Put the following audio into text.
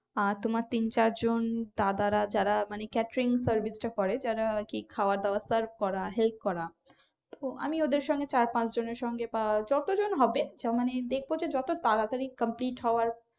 আর তোমার তিন চার জন দাদারা যারা মানে catering service টা করে যারা আর কি খাবার দাবার serve করা help করা তো আমি ওদের সঙ্গে চার পাঁচ জনের সঙ্গে বা যতজন হবে মানে দেখব যে যত তাড়াতাড়ি complete হওয়ার